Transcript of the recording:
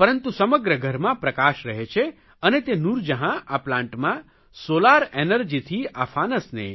પરંતુ સમગ્ર ઘરમાં પ્રકાશ રહે છે અને તે નૂરજહાં આ પ્લાન્ટમાં સોલાર એનર્જીથી આ ફાનસને